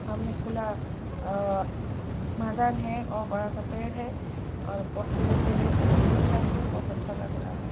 सामने खुला अ मैदान है और बड़ा सा पेड़ है और बोच्चे लोग के लिए बोत अच्छा है। बोत अच्छा लग रहा है।